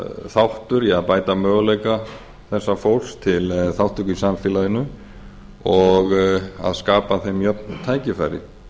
þáttur í að bæta möguleika þessa fólks til þátttöku í samfélaginu og að skapa þeim jöfn tækifæri